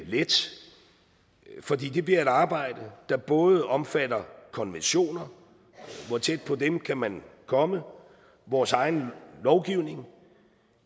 let for det bliver et arbejde der både omfatter konventioner hvor tæt på dem kan man komme vores egen lovgivning